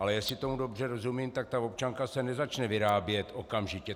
Ale jestli tomu dobře rozumím, tak ta občanka se nezačne vyrábět okamžitě.